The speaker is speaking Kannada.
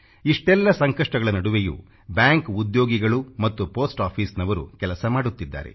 ಇಷ್ಟೆಲ್ಲ ಸಂಕಷ್ಟಗಳ ನಡುವೆಯೂ ಬ್ಯಾಂಕ್ ಉದ್ಯೋಗಿಗಳು ಮತ್ತು ಪೋಸ್ಟ್ ಆಫೀಸ್ನವರು ಕೆಲಸ ಮಾಡುತ್ತಿದ್ದಾರೆ